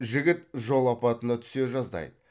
жігіт жол апатына түсе жаздайды